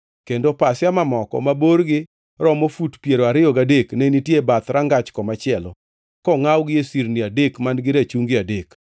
kendo pasia mamoko ma borgi romo fut piero ariyo gadek ne nitie e bath rangach komachielo kongʼawgi e sirni adek man-gi rachungi adek.